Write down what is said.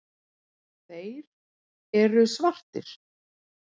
Þeir eru svartir.